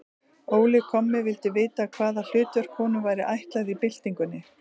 Óli kommi vildi vita, hvaða hlutverk honum væri ætlað í byltingunni.